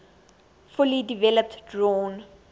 fully developed drawn